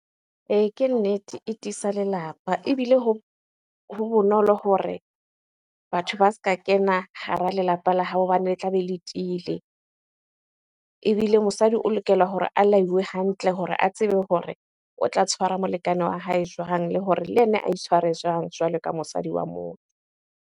Ee, ke nnete. E tiisa lelapa ebile hoo ho bonolo hore batho ba se ka kena hara lelapa la hao hobane le tla be le tiile. Ebile mosadi o lokela hore a laiwe hantle hore a tsebe hore o tla tshwara molekane wa hae jwang? Le hore le yena a itshware jwang jwalo ka mosadi wa moo.